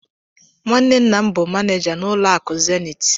Nwanne nna m bụ manija n'ụlọ akụ Zenith.